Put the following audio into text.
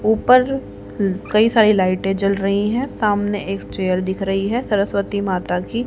ऊपर कई सारी लाइटें जल रही हैं सामने एक चेयर दिख रही है सरस्वती माता की --